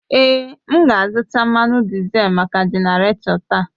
Èé, m ga-azụta mmanụ dizel maka genarator taa.